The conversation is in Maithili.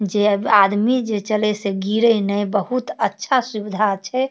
जे आदमी जे चले से गिरे नए बहुत अच्छा सुविधा छै।